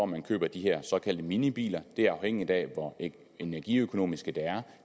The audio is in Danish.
man køber de her såkaldte minibiler det er afhængigt af hvor energiøkonomiske de er